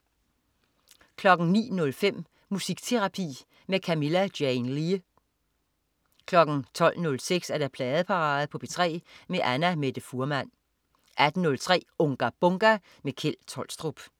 09.05 Musikterapi med Camilla Jane Lea 12.06 Pladeparade på P3 med Annamette Fuhrmann 18.03 Unga Bunga! Kjeld Tolstrup